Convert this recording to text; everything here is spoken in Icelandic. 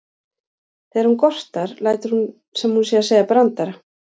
Þegar hún gortar lætur hún sem hún sé að segja brandara.